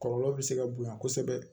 Kɔlɔlɔ bɛ se ka bonya kosɛbɛ